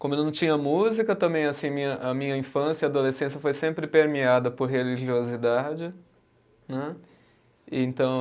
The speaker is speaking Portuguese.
Como eu não tinha música, também assim minha, a minha infância e adolescência foi sempre permeada por religiosidade. Né, e então